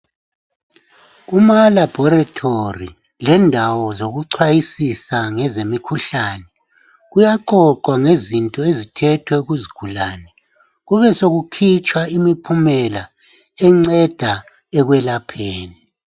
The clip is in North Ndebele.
Kuma laboratory lendawo zokuchwayisisa ngenze mikhuhlane kuyaqoqwa ngezinto ezithethwe kuzigulane kube sokukhitshwa imiphumela enceda ekwelapheni.